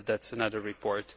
But that is another report.